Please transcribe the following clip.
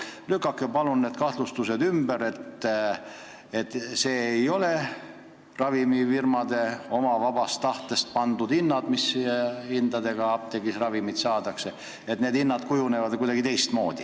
Lükake palun ümber need kahtlustused, et ravimite apteegihinnad ei ole ravimifirmade oma vabast tahtest pandud hinnad, ja öelge, et need kujunevad ikkagi kuidagi teistmoodi.